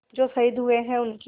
जो शहीद हुए हैं उनकी